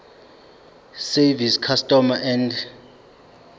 service customs and